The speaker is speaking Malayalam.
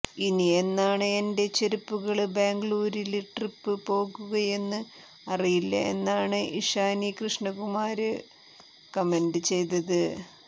ഇനി എന്നാണ് എന്റെ ചെരുപ്പകള് ബാംഗ്ലൂരില് ട്രിപ്പ് പോകുകയെന്ന് അറിയില്ല എന്നാണ് ഇഷാനി കൃഷ്ണകുമാര് കമന്റ് ചെയ്തത്